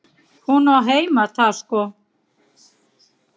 Hún á heima þar sko.